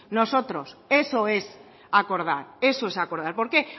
nosotros eso es acordar eso es acordar por qué